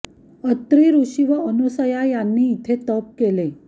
अत्री ऋषी व अनसुया यांनी इथे तप केले